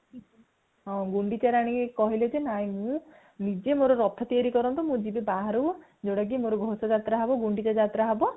ହଁ ଗୁଣ୍ଡିଚା ରାଣୀ କହିଲେ ଯେ ନାଇଁ ମୁଁ ନିଜେ ମୋର ରଥ ତିଆରି କରନ୍ତୁ ମୁଁ ଜୀବି ବାହାରକୁ ଯୋଉଟା କି ମୋର ଘୋସ ଯାତ୍ରା ହବ ଗୁଣ୍ଡିଚା ଯାତ୍ରା ହବ